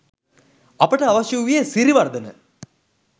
අපට අවශ්‍ය වූයේ සිරිවර්ධන